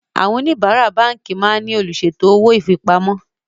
Àwọn oníbárá báńkì máa ń ní olùṣètò owó ifipamọ́